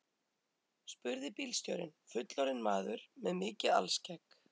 spurði bílstjórinn, fullorðinn maður með mikið alskegg.